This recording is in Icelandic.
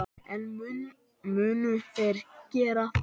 En munu þeir gera það?